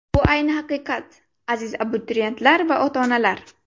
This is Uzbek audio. Bu ayni haqiqat, aziz abituriyentlar va ota-onalar!